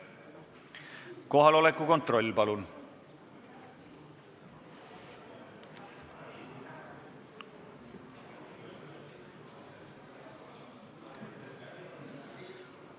Kohaloleku kontroll, palun!